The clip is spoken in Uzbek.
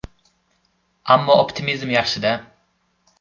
Ammo optimizm yaxshi-da.